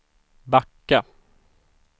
backa